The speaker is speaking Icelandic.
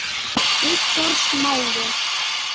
Viktor Smári.